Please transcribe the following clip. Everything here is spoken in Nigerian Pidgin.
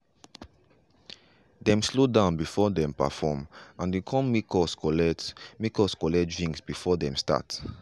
dem slow down before them perform and e come make us collect make us collect drinks before dem start.